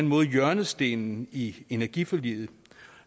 måde hjørnestenen i energiforliget